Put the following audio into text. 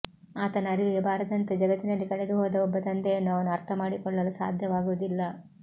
ಆತನ ಅರಿವಿಗೆ ಬಾರದಂತೆ ಜಗತ್ತಿನಲ್ಲಿ ಕಳೆದುಹೋದ ಒಬ್ಬ ತಂದೆಯನ್ನು ಅವನು ಅರ್ಥಮಾಡಿಕೊಳ್ಳಲು ಸಾಧ್ಯವಾಗುವುದಿಲ್ಲ